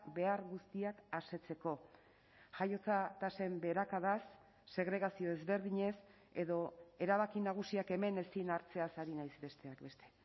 behar guztiak asetzeko jaiotza tasen beherakadaz segregazio ezberdinez edo erabaki nagusiak hemen ezin hartzeaz ari naiz besteak beste